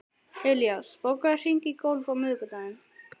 Elías, bókaðu hring í golf á miðvikudaginn.